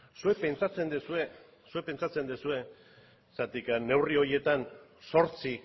zuek pentsatzen duzue zuek pentsatzen duzue zergatik neurri horietan zortzi